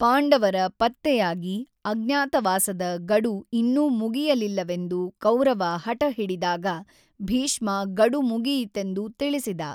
ಪಾಂಡವರ ಪತ್ತೆಯಾಗಿ ಅಜ್ಞಾತವಾಸದ ಗಡು ಇನ್ನೂ ಮುಗಿಯಲಿಲ್ಲವೆಂದು ಕೌರವ ಹಠಹಿಡಿದಾಗ ಭೀಷ್ಮ ಗಡು ಮುಗಿಯಿತೆಂದು ತಿಳಿಸಿದ.